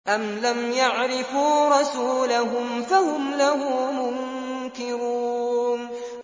أَمْ لَمْ يَعْرِفُوا رَسُولَهُمْ فَهُمْ لَهُ مُنكِرُونَ